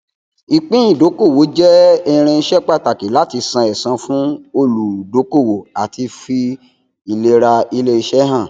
ìpín ìdókòwò jẹ irinṣẹ pàtàkì láti san ẹsan fún olùdókòwò àti fi ìlera iléiṣẹ hàn